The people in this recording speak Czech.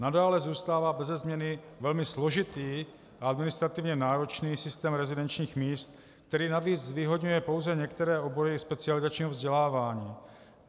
Nadále zůstává beze změny velmi složitý a administrativně náročný systém rezidenčních míst, který navíc zvýhodňuje pouze některé obory specializačního vzdělávání.